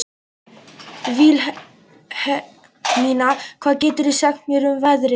Vilhelmína, hvað geturðu sagt mér um veðrið?